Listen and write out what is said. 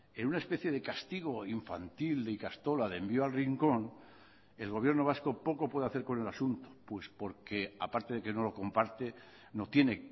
en una especie de castigo infantil de ikastola de envío al rincón el gobierno vasco poco puede hacer con el asunto pues porque aparte de que no lo comparte no tiene